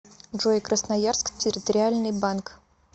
джой красноярск территориальный банк